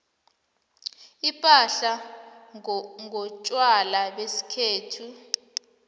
siphahla ngontjwala besikhethu